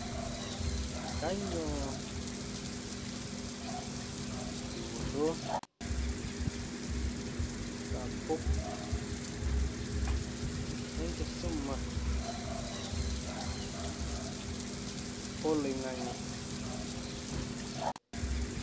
Kaanyioo dupoto sapuk e enkisuma oloing'ang'e?